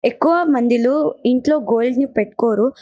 ఎక్కువ మందిలో ఇంట్లో గోల్డ్ ని పెట్టుకోరు.